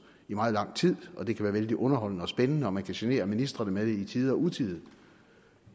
i meget lang tid og det kan være vældig underholdende og spændende og man kan genere ministrene med det i tide og utide